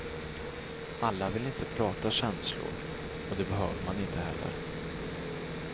Alla vill inte prata känslor och det behöver man inte heller.